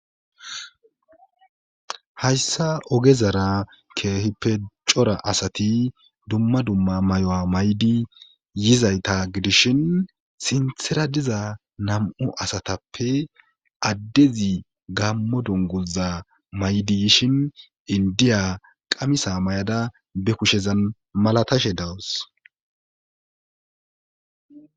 Hayssa oge zara keehippe cora asati dumma dumma may7o7a maydi yizayta gidishin sinthera diza nam7u asatappe addezi gammo donguza maydi yishin indiya qamisa may7ada be kushezan malatashe dawus